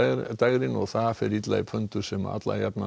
dægrin það fer illa í sem